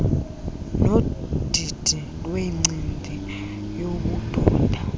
nodidi lwencindi yobudoda